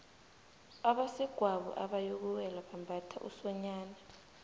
abasegwabo abayokuwela bambatha usonyana